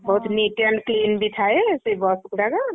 ବହୁତ୍ neat and clean ବି ଥାଏ ସେଇ ବସ ଗୁଡାକ।